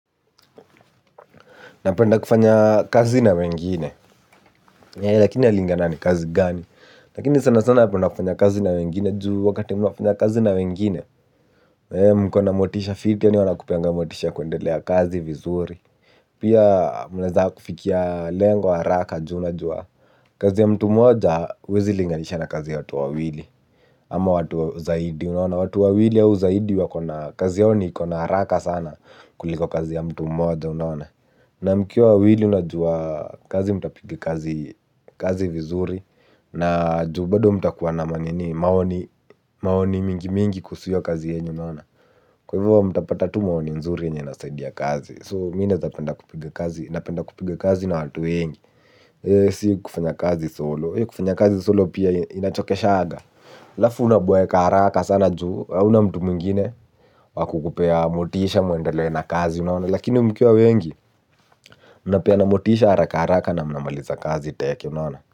Napenda kufanya kazi na wengine, lakini inalingana ni kazi gani. Lakini sana sana napenda kufanya kazi na wengine, juu wakati unafanya kazi na wengine. Mko na motisha fiti, yaani wanakupea motisha kuendelea kazi vizuri. Pia mnaweza kufikia lengo haraka, juu unajua kazi ya mtu mmoja, hauwezi linganisha na kazi ya watu wawili. Ama watu zaidi unaona. Watu wawili au zaidi kazi yao ni iko na haraka sana kuliko kazi ya mtu moja unaona. Na mkiwa wawili unajua kazi mtapiga kazi vizuri. Na juu bado mtakuwa na nini, maoni mingi mingi kuhusu hiyo kazi yenu unaona. Kwa hivyo mtapata tu maoni nzuri yenye inasaidia kazi. "So" mimi naweza penda kupiga kazi, napenda kupiga kazi na watu wengi. Si kufanya kazi "solo", kufanya kazi "solo" pia inachokeshaga. Alafu unaboeka haraka sana juu, hauna mtu mwingine wa kukupea motisha mwendele na kazi unaona. Lakini mukiwa wengi, munapeana motisha haraka haraka na mnamaliza kazi teke unaona.